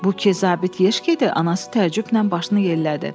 Bu ki zabit yeşkədir, anası təəccüblə başını yellədi.